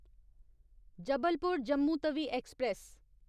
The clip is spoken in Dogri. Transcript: जबलपुर जम्मू तवी एक्सप्रेस